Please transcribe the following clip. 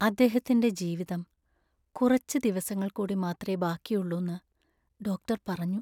അദ്ദേഹത്തിന്‍റെ ജീവിതം കുറച്ച് ദിവസങ്ങൾ കൂടി മാത്രേ ബാക്കിയുള്ളൂന്ന് ഡോക്ടർ പറഞ്ഞു.